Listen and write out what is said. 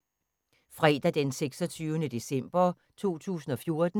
Fredag d. 26. december 2014